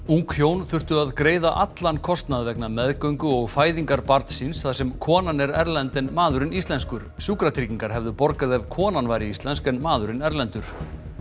ung hjón þurftu að greiða allan kostnað vegna meðgöngu og fæðingar barns síns þar sem konan er erlend en maðurinn er íslenskur sjúkratryggingar hefðu borgað ef konan væri íslensk en maðurinn erlendur